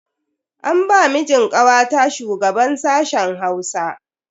An ba mijin kawata shugaban sashen Hausa.